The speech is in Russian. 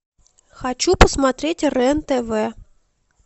хочу посмотреть рен тв